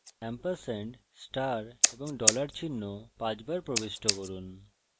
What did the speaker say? ampersand star এবং dollar চিহ্ন পাঁচবার প্রবিষ্ট করুন